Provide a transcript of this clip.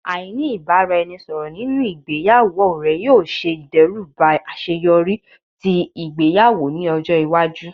Aini ibaraẹnisọrọ ninu igbeyawo rẹ yoo ṣe idẹruba aṣeyọri ti igbeyawo ni ọjọ iwaju